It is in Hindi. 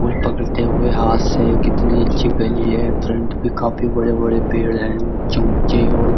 उर पकड़ते हुए हाथ से कितने अच्छी गली है। फ्रन्ट पे काफी बड़े बड़े पेड़ है उच्चे उच्चे और --